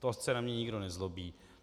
Ať se na mě nikdo nezlobí.